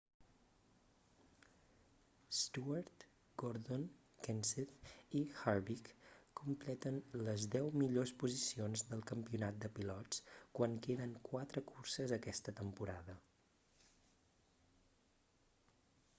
stewart gordon kenseth i harvick completen les deu millors posicions del campionat de pilots quan queden quatre curses aquesta temporada